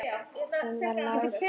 Hún var látin.